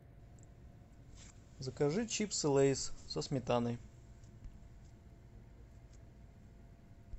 закажи чипсы лейс со сметаной